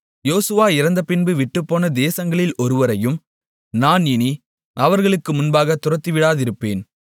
யோசுவா இறந்தபின்பு விட்டுப்போன தேசங்களில் ஒருவரையும் நான் இனி அவர்களுக்கு முன்பாகத் துரத்திவிடாதிருப்பேன்